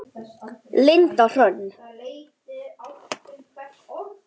Linda Hrönn.